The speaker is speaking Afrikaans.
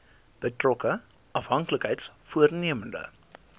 betrokke afhanklikheids vormende